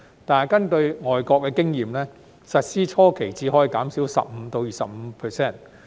但根據外國經驗，實施初期只可以減少 15% 至 25%。